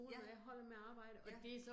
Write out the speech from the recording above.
Ja. Ja